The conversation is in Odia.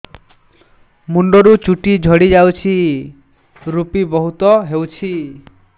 ମୁଣ୍ଡରୁ ଚୁଟି ଝଡି ଯାଉଛି ଋପି ବହୁତ ହେଉଛି